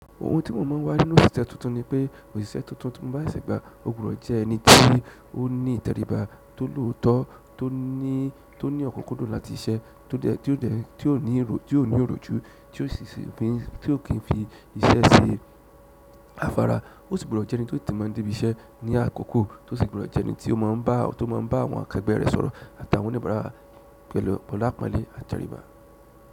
Ohun tí mo máa ń wá nínú òṣìṣẹ́ tuntun ni pé òṣìṣẹ́ tuntun ti mo bá ṣese gbà, ò gbudo jẹ́ ẹni ti o ní ìtẹríba, tó lòótọ́, tó ní ọ̀kunkudun láti siṣẹ́, tí ó ní oroju, tí ó kì í fi iṣẹ́ ṣe afárá. Ó sì gbọdọ̀ jẹ́ ẹni tó tètè mọ n dé ibi iṣẹ́ ní àkọ́kọ́, tó sì gbọdọ̀ jẹ́ ẹni tí ó máa ń bá àwọn akẹgbẹ́ rẹ̀ sọ̀rọ̀ àti àwọn oníbàárà pẹ̀lú apọ́nlé àti ìtẹríba.